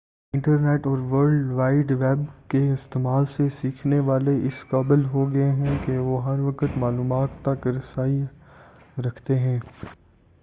internet اور world wide web کے استعمال سے سیکھنے والے اس قابل ہو گئے ہیں کہ وہ ہر وقت معلومات تک رسائی رکھتے ہیں